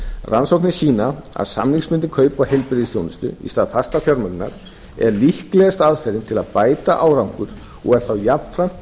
rannsóknir sýna að samningsbundin kaup á heilbrigðisþjónustu í stað fastrar fjármögnunar er líklegasta aðferðin til að bæta árangur og er þá jafnframt